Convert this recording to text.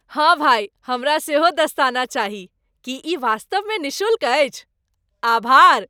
हाँ भाई, हमरा सेहो दस्ताना चाही। की ई वास्तवमे निःशुल्क अछि? आभार!